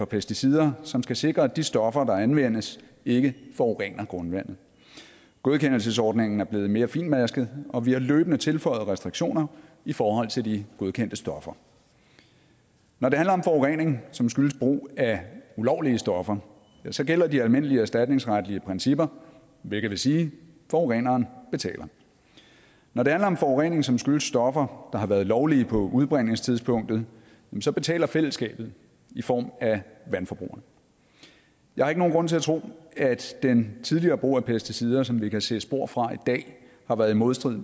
pesticider som skal sikre at de stoffer der anvendes ikke forurener grundvandet godkendelsesordningen er blevet mere finmasket og vi har løbende tilføjet restriktioner i forhold til de godkendte stoffer når det handler om forurening som skyldes brug af ulovlige stoffer så gælder de almindelige erstatningsretlige principper hvilket vil sige at forureneren betaler når det handler om forurening som skyldes stoffer der har været lovlige på udbringningstidspunktet så betaler fællesskabet i form af vandforbrugerne jeg har ikke nogen grund til at tro at den tidligere brug af pesticider som vi kan se spor fra i dag har været i modstrid